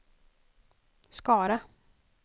Skara